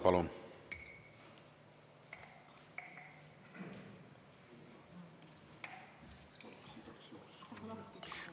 Palun!